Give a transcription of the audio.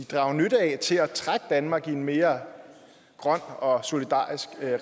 drage nytte af til at trække danmark i en mere grøn og solidarisk